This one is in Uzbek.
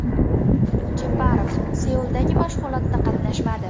Jeparov Seuldagi mashg‘ulotda qatnashmadi.